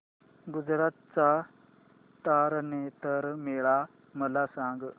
गुजरात चा तारनेतर मेळा मला सांग